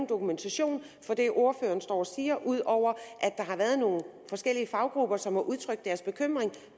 dokumentation for det ordføreren står og siger ud over at der har været nogle forskellige faggrupper som har udtrykt deres bekymring